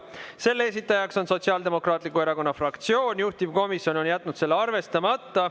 Selle esitaja on Sotsiaaldemokraatliku Erakonna fraktsioon, juhtivkomisjon on jätnud selle arvestamata.